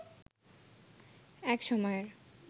এক সময়ের